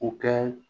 U kɛ